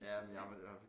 Jamen jamen jeg